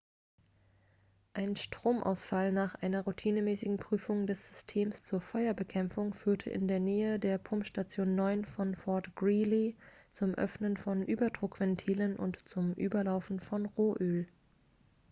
ein stromausfall nach einer routinemäßigen prüfung des systems zur feuerbekämpfung führte in der nähe der pumpstation 9 von fort greely zum öffnen von überdruckventilen und zum überlaufen von rohöl